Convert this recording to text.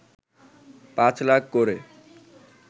পাঁচ লাখ করে